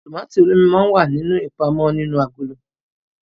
Tomati olómi mọ n wá ní ipamọ nínú agolo